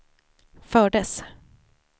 fördes